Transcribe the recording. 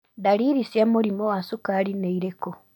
Ndariri cia mũrimũ wa cukari nĩ irĩku?